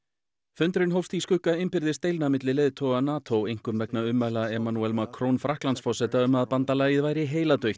fundurinn hófst í skugga innbyrðis deilna milli leiðtoga NATO einkum vegna ummæla Macron Frakklandsforseta um að bandalagið væri